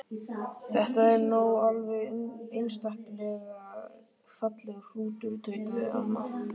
Þetta er nú alveg einstaklega fallegur hrútur tautaði amma.